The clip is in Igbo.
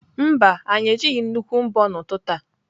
Mba, anyị ejighị nnukwu mbo n'ụtụtụ a.